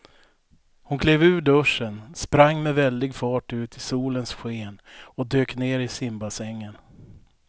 Hon klev ur duschen, sprang med väldig fart ut i solens sken och dök ner i simbassängen.